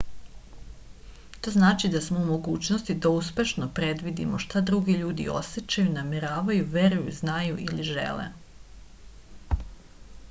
to znači da smo u mogućnosti da uspešno predvidimo šta drugi ljudi osećaju nameravaju veruju znaju ili žele